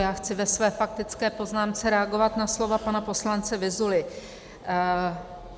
Já chci ve své faktické poznámce reagovat na slova pana poslance Vyzuly.